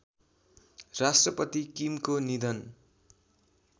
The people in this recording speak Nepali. राष्ट्रपति किमको निधन